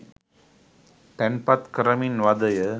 තැන්පත් කරමින් වදය